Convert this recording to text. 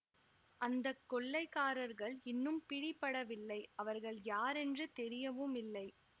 அந்த கொல்லைகாரர்கள் இன்னும் பிடிபடவில்லை அவர்கள் யாரென்று தெரியவும் இல்லை